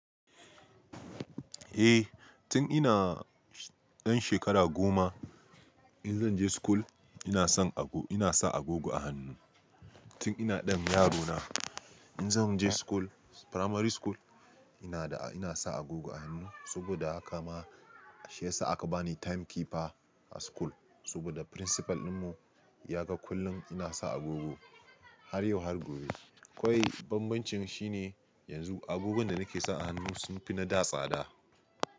Eh, tun ina dan shekara goma in zan je school ina sa agogo a hannu. Tun ina dan yaro na in zan je primary school ina sa agogo a hannu saboda haka ma shi ya sa aka bani time keeper a school saboda principal dinmu ya ga kullum ina sa agogo har yau har gobe. To banbancin shi ne yanzu agogon da nake sa a hannu sun fi na da tsada.